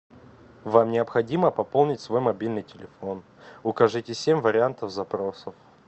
вам необходимо пополнить свой мобильный телефон укажите семь вариантов запросов